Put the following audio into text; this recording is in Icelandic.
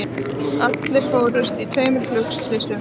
Allir fórust í tveimur flugslysum